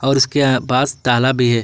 और उसके अ पास ताला भी है।